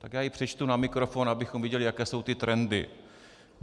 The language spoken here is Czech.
Tak já ji přečtu na mikrofon, abychom viděli, jaké jsou ty trendy.